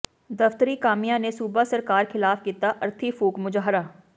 ਦਫ਼ਤਰੀ ਕਾਮਿਆਂ ਨੇ ਸੂਬਾ ਸਰਕਾਰ ਖ਼ਿਲਾਫ਼ ਕੀਤਾ ਅਰਥੀ ਫੂਕ ਮੁਜ਼ਾਹਰਾ